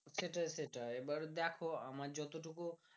সেইটাই সেইটাই এইবার দেখো আমার যত টুকুন